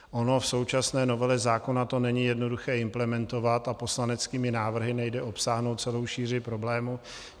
Ono v současné novele zákona to není jednoduché implementovat a poslaneckými návrhy nejde obsáhnout celou šíři problému.